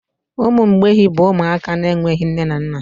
Ụmụ mgbei bụ ụmụaka na-enweghị nne na nna.